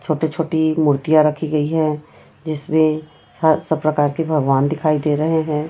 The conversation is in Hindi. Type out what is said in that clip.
छोटे छोटी मूर्तियां रखी गई है जिसमें सब प्रकार के भगवान दिखाई दे रहे हैं।